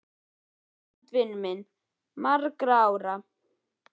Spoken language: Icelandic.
Englandi, vinur minn til margra ára.